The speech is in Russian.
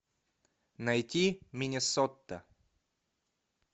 найти миннесота